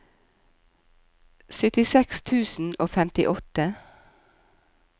syttiseks tusen og femtiåtte